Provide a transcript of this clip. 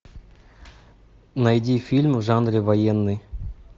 найди фильм в жанре военный